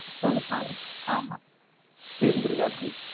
தொண்ணூத்தி நாலு, ஆமா இருந்திருக்காப்பிடி